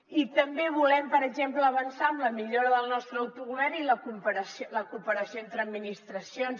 i també volem per exemple avançar en la millora del nostre autogovern i la cooperació entre administracions